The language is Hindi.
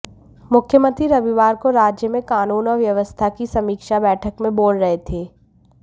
मुख्यमंत्री रविवार को राज्य में कानून और व्यवस्था की समीक्षा बैठक में बोल रहे थे